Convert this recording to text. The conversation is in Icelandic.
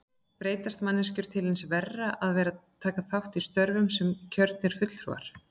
Breytast manneskjur til hins verra við að taka þátt í störfum sem kjörnir fulltrúar?